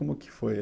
Como que foi?